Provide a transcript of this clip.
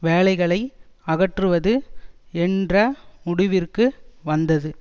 வேலைகளை அகற்றுவது என்ற முடிவிற்கு வந்தது